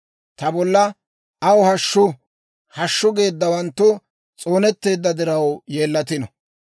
Ta bolla, «Aw hashshu! Hashshu!» geeddawanttu s'oonetteedda diraw yeellatino.